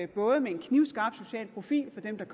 både med en knivskarp social profil for dem der